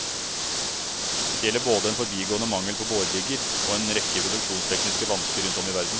Dette gjelder både en forbigående mangel på borerigger og en rekke produksjonstekniske vansker rundt om i verden.